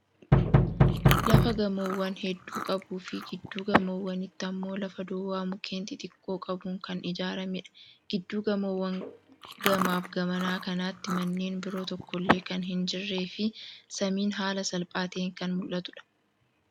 Lafa gamoowwan heddu qabuu fi gidduu gamoowwaniitti ammoo lafa duwwaa mukkeen xixiqqoo qabuun kan ijaarameedha. Gidduu gamoowwan gamaaf gamanaa kanatti manneen biroo tokkollee kan hin jirree fi samiin haala salphaa ta'een kan mul'atuudha.